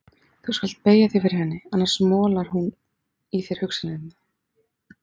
Þú skalt beygja þig fyrir henni, annars molar hún í þér hugsanirnar.